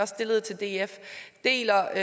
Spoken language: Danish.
stillede til df er